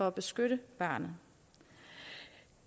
at beskytte barnet